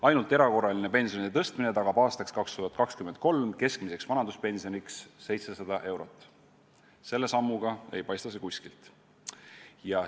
"Ainult erakorraline pensionide tõstmine tagab aastaks 2023 keskmiseks vanaduspensioniks 700 eurot" – selle sammu põhjal ei paista seda kuskilt.